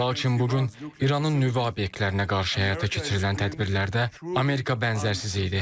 Lakin bu gün İranın nüvə obyektlərinə qarşı həyata keçirilən tədbirlərdə Amerika bənzərsiz idi.